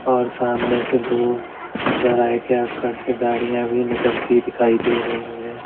और सामने से दो चौराहे के आसपास से गाड़ियां भी निकलती दिखाई दे रही हैं।